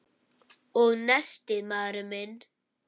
Og nestið, maður minn!